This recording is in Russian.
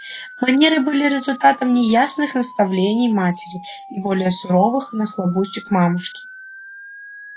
манеры были результатом неясных наставлений матери и более суровых нахлобучек мамушки